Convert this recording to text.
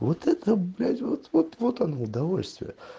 вот это блять вот вот вот оно удовольствие